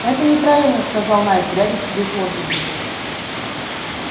это неправильно сказал найд глядя себе под ноги